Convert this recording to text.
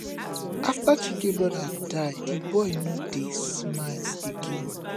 after chike brother die the boy no dey smile again